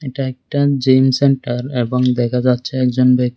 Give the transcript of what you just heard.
এটা একটা gym centre এবং দেখা যাচ্ছে একজন ব্যক--